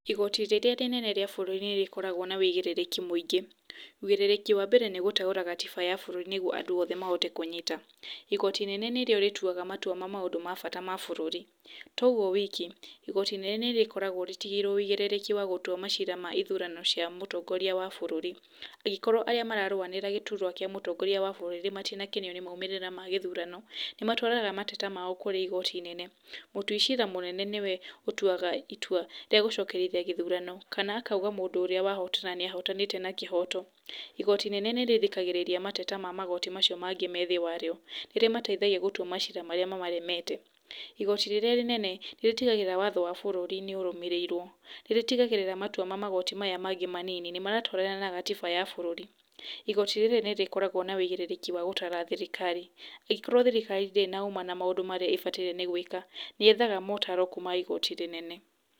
Igoti rĩrĩa rĩnene rĩa bũrũri nĩrĩkoragwo na wigĩrĩrĩki mũingĩ. Wigĩrĩrĩki wa mbere nĩ gũteũra gatiba ya bũrũri nĩguo andũ othe mahote kũnyita. Igoti inene nĩrĩo rĩtuaga matua ma maũndũ ma bata ma bũrũri. Togwo wiki, igoti inene nĩrĩkoragwo rĩtigĩirwo wigĩrĩrĩki wa gũtua macira ma ithurano cia mũtongoria wa bũrũri. Angĩkorwo arĩa mararũanĩra gĩturwa kĩa mũtongoria wa bũrũri matinakenio nĩ moimĩrĩra ma gĩthurano, nĩmatwaraga mateta mao kũrĩ igoti inene. Mũtui cira mũnene, nĩwe ũtuaga itua rĩa gũcokerithia gĩthurano kana akauga mũndũ ũrĩa wahotana nĩahotanĩte na kĩhoto. Igoti inene nĩ rĩrĩkagia mateta ma magoti mau mangĩ me thĩ warĩo. Nĩrĩmateithagia gũtua macira marĩa mamaremete. Igoti rĩrĩa rĩnene, nĩrĩtigagĩrĩra watho wa bũrũri nĩũrũmĩrĩirwo. Nĩ rĩtigagĩrĩra matua ma magoti maya mangĩ mothe manini, nĩmaratwarana na gatiba ya bũrũri. Igoti rĩrĩ nĩrĩkoragwo na wigĩrĩki wa gũtara thirikari. Angikorwo thirikari ndĩrĩ na ũma na maũndũ marĩa ĩbataire nĩgwĩka, nĩyethaga motaro kuma igoti rĩnene.